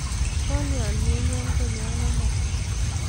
Kolya menyon konyon amut?